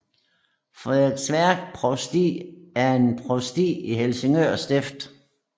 Frederiksværk Provsti er et provsti i Helsingør Stift